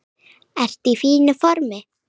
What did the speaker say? Ertu í fínu formi?